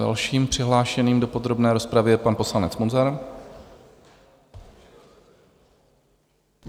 Dalším přihlášeným do podrobné rozpravy je pan poslanec Munzar.